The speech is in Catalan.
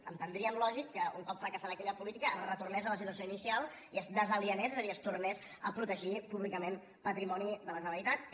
entendríem lògic que un cop fracassada aquella política es retornés a la situació inicial i es desalienés és a dir es tornés a protegir públicament patrimoni de la generalitat que